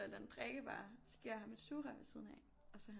Et eller andet drikkevarer så giver jeg ham et sugerør ved siden af og så er han